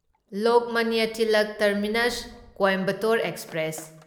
Lokmanya Tilak Terminus Coimbatore express